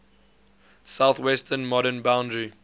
southwestern modern boundary